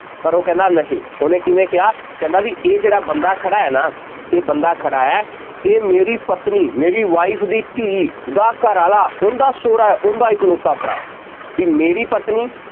ਪਰ ਉਹ ਕਹਿੰਦਾ ਨਹੀਂ, ਉਹਨੇ ਕਿਵੇਂ ਕਿਹਾ, ਕਹਿੰਦਾ ਬਈ ਇਹ ਜਿਹੜਾ ਬੰਦਾ ਖੜ੍ਹਾ ਹੈ ਨਾ, ਇਹ ਬੰਦਾ ਖੜ੍ਹਾ ਹੈ, ਇਹ ਮੇਰੀ ਪਤਨੀ, ਮੇਰੀ wife ਦੀ ਧੀ, ਦਾ ਘਰਵਾਲਾ ਉਹਦਾ ਸਹੁਰਾ, ਉਹਦਾ ਇਕਲੌਤਾ ਭਰਾ ਹੈ, ਬਈ ਮੇਰੀ ਪਤਨੀ